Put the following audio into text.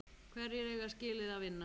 Hverjir eiga skilið að vinna?